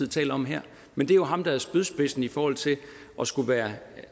taler om her men det er jo ham der er spydspidsen i forhold til at skulle være